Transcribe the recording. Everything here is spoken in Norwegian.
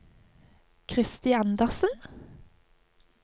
Kristi Andersen